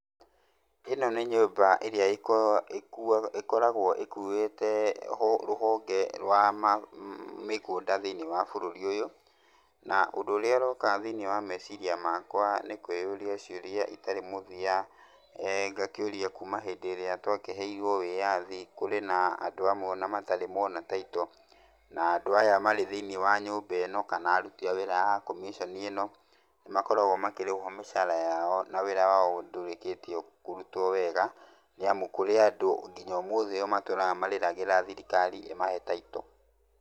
Ĩno nĩ nyũmba ĩrĩa ĩkoragwo ĩkuĩte rũhonge rwa mĩgũnda thĩiniĩ wa bũrũri ũyũ, na ũndũ ũrĩa ũroka thĩiniĩ wa meciria makwa nĩ kwĩũria ciũria itarĩ mũthia. Ngakĩũria, kuuma hĩndĩ ĩrĩa twakĩheirwo ũwĩathi, kũrĩ na andũ amwe o na matarĩ maona taito, na andũ aya marĩ thĩiniĩ wa nyũmba ĩno kana aruti a wĩra a commission ĩno nĩ makoragwo makĩrĩhwo mĩcara yao na wĩra wao ndũrĩkĩtie kũrutwo wega. Nĩ amu kũrĩ andũ nginya ũmũthĩ, matũraga marĩragĩra thirikari ĩmahe taito.